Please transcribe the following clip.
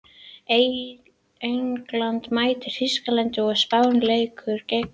England mætir Þýskalandi og Spánn leikur gegn Ítalíu.